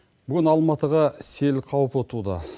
бүгін алматыға сел қаупі туды